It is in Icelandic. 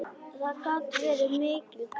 Það gat verið mikil hvíld.